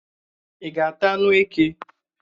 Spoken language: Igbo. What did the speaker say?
Ị́ ga-ata anụ eke?